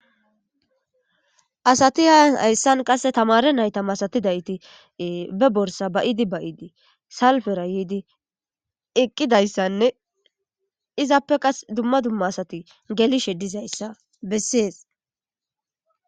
Asati hayssan qasse tamare nayta masatizayti be borssa ba'idi ba'idi salppera yiidi eqqidayssane izappe qassi dumma dumma asati gellishe diizayssa beses.